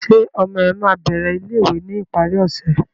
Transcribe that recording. Ṣe ọmọ ẹ ma bẹrẹ ilé-ìwé ni ìparí ọsẹ?